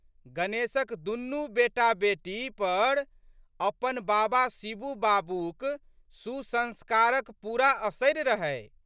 गणेशक दुनू बेटाबेटी पर अपन बाबा शिबू बाबूक सुसंस्कारक पूरा असरि रहै।